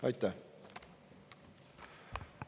Aitäh!